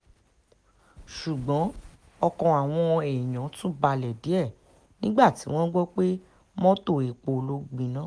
ṣùgbọ́n ọkàn àwọn èèyàn tún balẹ̀ díẹ̀ nígbà tí wọ́n gbọ́ pé mọ́tò epo ló gbiná